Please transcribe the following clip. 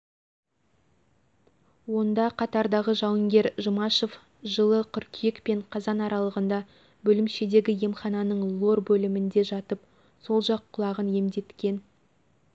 онда қатардағы жауынгер жұмашев жылы қыркүйек пен қазан аралығында бөлімшедегі емхананың лор бөлімінде жатып сол жақ құлағын емдеткен